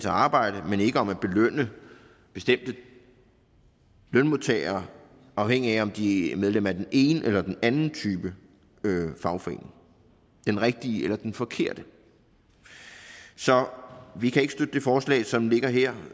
arbejde men ikke om at belønne bestemte lønmodtagere afhængigt af om de er medlem af den ene eller den anden type fagforening den rigtige eller den forkerte så vi kan ikke støtte det forslag som ligger her